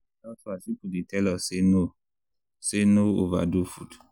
health-wise people dey tell us say no say no overdo food.